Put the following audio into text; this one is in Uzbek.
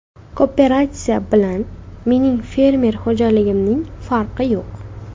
Kooperatsiya bilan mening fermer xo‘jaligimning farqi yo‘q.